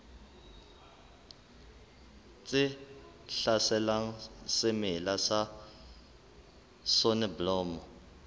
tse hlaselang semela sa soneblomo